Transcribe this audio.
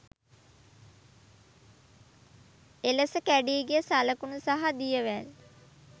එලෙස කැඩී ගිය සලකුණු සහ දියවැල්